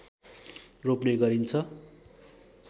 रोप्ने गरिन्छ